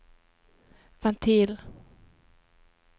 ventil